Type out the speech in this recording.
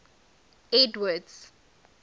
edward's